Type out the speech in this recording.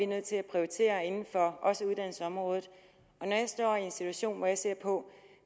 nødt til at prioritere inden for uddannelsesområdet og når jeg står i en situation hvor jeg skal se på